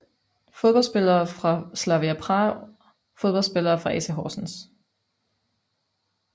Fodboldspillere fra Slavia Prag Fodboldspillere fra AC Horsens